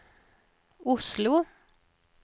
Oslo